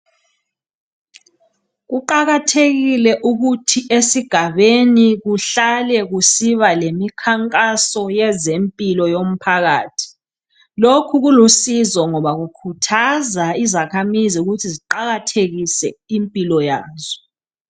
Kuqakathekile ukuthi esigabeni kuhlale kusiba lemikhankaso yezempilo yomphakathi lokho kulusizo ngoba kukhuthaza izakhamizi ukuthi ziqakathekise impilo yazo.